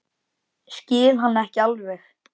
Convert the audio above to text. Skil hann ekki alveg.